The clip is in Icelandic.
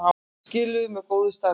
Skiluðu mjög góðu starfi